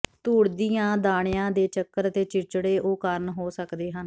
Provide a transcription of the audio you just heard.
ਧੂੜ ਦੀਆਂ ਦਾਣਿਆਂ ਦੇ ਚੱਕਰ ਅਤੇ ਚਿੜਚਿੜੇ ਉਹ ਕਾਰਨ ਹੋ ਸਕਦੇ ਹਨ